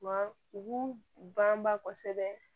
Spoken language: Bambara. Wa u banba kosɛbɛ